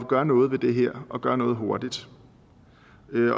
gøre noget ved det her og gøre noget hurtigt